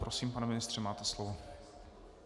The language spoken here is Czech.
Prosím, pane ministře, máte slovo.